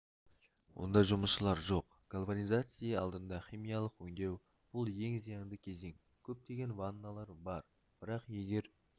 онда жұмысшылар жоқ гальванизации алдында химиялық өңдеу бұл ең зиянды кезең көптеген ванналар бар бірақ егер